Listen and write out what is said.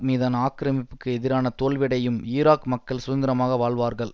மீதான ஆக்கிரமிப்புக்கு எதிரான தோல்வியடையும் ஈராக் மக்கள் சுதந்திரமாக வாழ்வார்கள்